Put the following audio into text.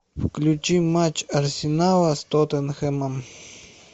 включи матч арсенала с тоттенхэмом